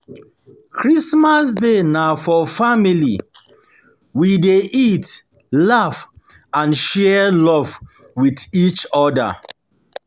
Christmas day na Christmas day na for family, we dey eat, laugh, and share love wit each oda.